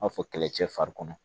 N b'a fɔ kɛlɛ cɛ fari kɔnɔ